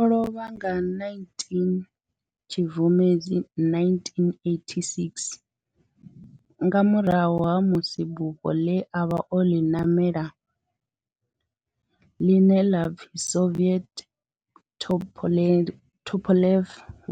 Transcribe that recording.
O lovha nga 19 Tshibvumedzi 1986 nga murahu ha musi bufho ḽe a vha o ḽi ṋamela, ḽine la pfi Soviet Tupolev